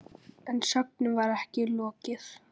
En sögnum var ekki lokið.